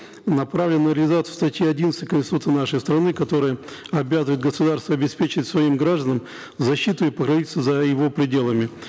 направлена на реализацию статьи одиннадцать конституции нашей страны которая обязывает государства обеспечить своим гражданам защиту и покровительство за его пределами